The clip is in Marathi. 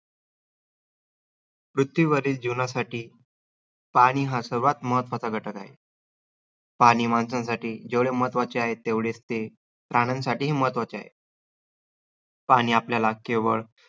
पृथ्वीवरील जीवनासाठी पाणी हा सर्वात महत्वाचा घटक आहे. पाणी माणसांसाठी जेवढे महत्वाचे आहे, तेवढेच ते प्राण्यांसाठीही महत्वाचे आहे. पाणी आपल्याला केवळ